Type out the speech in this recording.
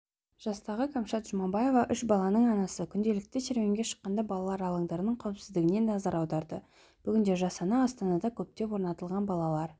жастағы кәмшат жұбаева үш баланың анасы күнделікті серуенге шыққанда балалар алаңдарының қауіпсіздігіне назар аударады бүгінде жас ана астанада көптеп орнатылған балалар